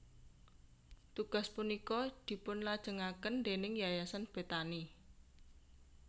Tugas punika dipunlajengaken déning Yayasan Bethani